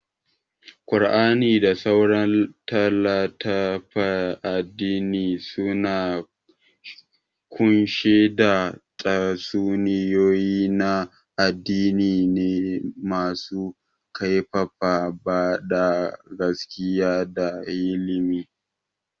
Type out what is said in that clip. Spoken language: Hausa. Qur'ani da sauran litattafan addini suna kunshe da tatsuniyoyi na addini ne masu karfafa bada gaskiya da hikima.